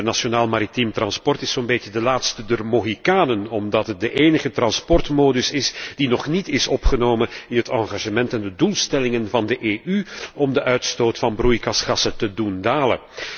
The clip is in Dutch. Het internationaal maritiem transport is zo'n beetje de laatste der Mohikanen, omdat het de enige transportmodus is die nog niet is opgenomen in het engagement en de doelstellingen van de EU om de uitstoot van broeikasgassen te doen dalen.